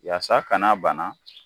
Yasa ka n'a bana